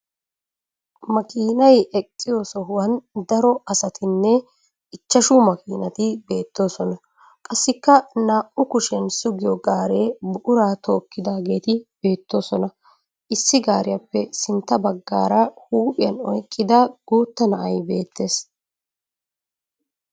Makiinay eqqiyo sohuwan daro asatinne ichchashu makiinati beettoosona. Qassikka naa"u kushiyan sugiyo gaaree buquraa tookkidaageeti beettoosona. Issi gaariyappe sinttan baggaara huuphiyan oyiqqida guutta na'ay beettes.